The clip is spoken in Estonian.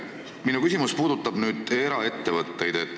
Minu küsimus puudutab eraettevõtteid.